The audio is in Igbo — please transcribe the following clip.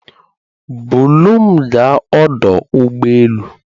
Bulu m gaa ọdụ ụgbọ elu